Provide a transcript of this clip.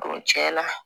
cɛn na